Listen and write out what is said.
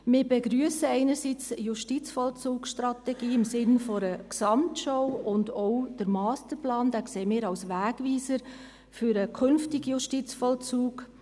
Wir begrüssen einerseits die JVS im Sinne einer Gesamtschau, und auch den Masterplan sehen wir als Wegweiser für den künftigen Justizvollzug.